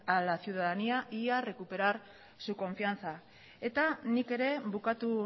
a la ciudadanía y a recuperar su confianza eta nik ere bukatu